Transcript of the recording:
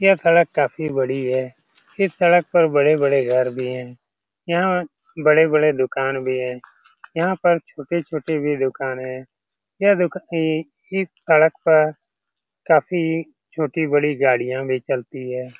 यह सड़क काफी बड़ी है। इस सड़क पर बड़े-बड़े घर भी हैं। यहाँ बड़े-बड़े दुकान भी हैं। यहाँ पर छोटे-छोटे भी दुकान है। यह दुका ई इस सड़क पर काफी छोटी-बड़ी गाड़ियां भी चलती हैं।